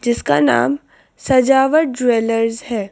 जिसका नाम सजावट ज्वेलर्स है।